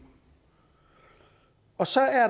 og så